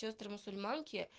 сёстры мусульманки